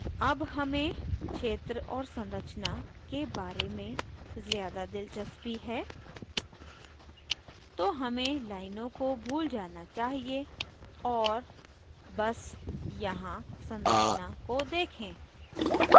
अब हमें क्षेत्र और संरचना के बारे में ज़्यादा दिलचस्पी है तो हमें लाइनों को भूल जाना चाहिए और बस यहाँ संरचना को देखें